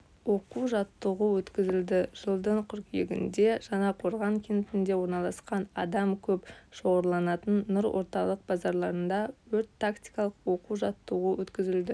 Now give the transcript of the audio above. оқу-жаттығу өткізілді жылдың қыркүйегінде жаңақорған кентінде орналасқан адам көп шоғырланатын нұр орталық базарында өрт-тактикалық оқу-жаттығу өткізілді